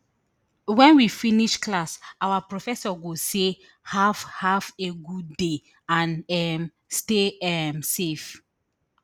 wen we finish class our professor go say have have a good day and um stay um safe